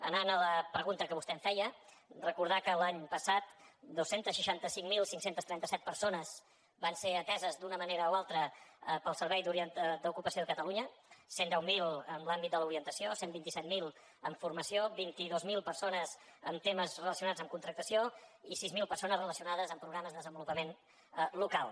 anant a la pregunta que vostè em feia recordar que l’any passat dos cents i seixanta cinc mil cinc cents i trenta set persones van ser ateses d’una manera o altra pel servei d’ocupació de catalunya cent i deu mil en l’àmbit de l’orientació cent i vint set mil en formació vint dos mil persones en temes relacionats amb contractació i sis mil persones relacionades amb programes de desenvolupament local